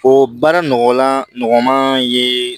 O baara nɔgɔlan nɔgɔman ye